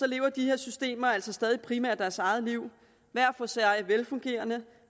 lever de her systemer altså stadig primært deres eget liv hver for sig velfungerende